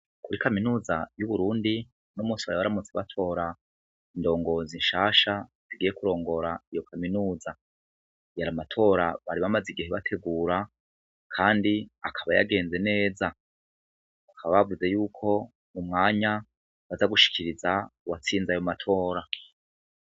Kuri kaminuza y'uburundi no mosi baya baramutse batora indongozinshasha tugiye kurongora iyo kaminuza, yaramatora bari bamaze igihe bategura, kandi akaba yagenze neza, akaba bavuze yuko umwanya bazagushikiriza uwatsinza ayo matora.